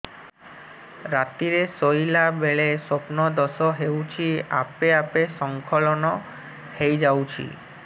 ରାତିରେ ଶୋଇଲା ବେଳେ ସ୍ବପ୍ନ ଦୋଷ ହେଉଛି ଆପେ ଆପେ ସ୍ଖଳନ ହେଇଯାଉଛି